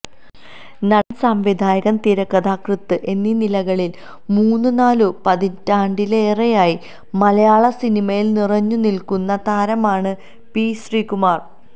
നടന് സംവിധായകന് തിരക്കഥാകൃത്ത് എന്നി നിലകളില് മൂന്ന് നാലു പതിറ്റാണ്ടിലേറെയായി മലയാള സനിമയില് നിറഞ്ഞു നില്ക്കുന്ന താരമാണ് പി ശ്രികുമാര്